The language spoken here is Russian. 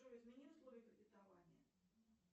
джой измени условия кредитования